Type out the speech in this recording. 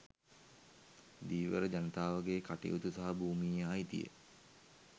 ධීවර ජනතාවගේ කටයුතු සහ භූමියේ අයිතිය